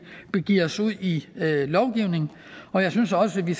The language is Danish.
begiver os ud i lovgivning og jeg synes også at vi